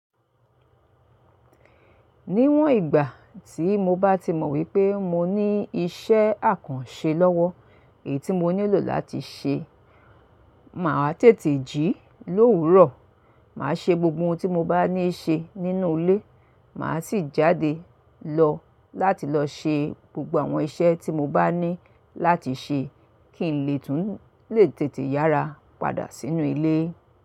Níwọ̀n ìgbà tí mo bá ti mọ̀ wípé mo ní ìṣẹ́ àkànṣe lọ́wọ́, èyí tí mo nílò láti ṣe, màá tètè jí lówurùo. Màá ṣe gbogbo ohun tí mo bá ní ṣe nínú ilé, màá sì jáde lọ láti lọ ṣe gbogbo àwọn iṣẹ́ tí mo bá ní láti ṣe kí n lè tún lè tètè yára padà sínú ilé.